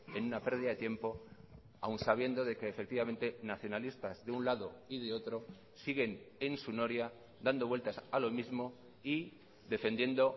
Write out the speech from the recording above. en una pérdida de tiempo aún sabiendo de que efectivamente nacionalistas de un lado y de otro siguen en su noria dando vueltas a lo mismo y defendiendo